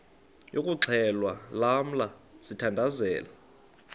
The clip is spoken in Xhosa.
yokuxhelwa lamla sithandazel